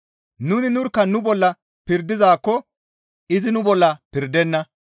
Nuni nurkka nu bolla pirdizaakko izi nu bolla pirdenna.